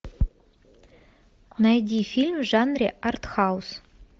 найди фильм в жанре артхаус